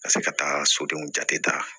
Ka se ka taa sodenw jate ta